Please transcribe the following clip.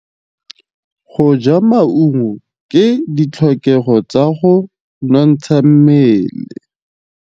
Go ja maungo ke ditlhokegô tsa go nontsha mmele.